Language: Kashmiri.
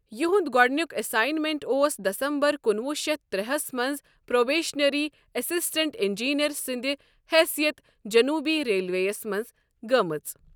یِہُنٛد گۅڈنیُک اٮ۪ساینمٮ۪نٹ اوس دسمبر کُنوُہ شیتھ ترٛےہس منٛز پروبیشنری اسسٹنٹ انجینئر سٕنٛدِ حثیت جنوبی ریلویس منٛز گٲمٕژ۔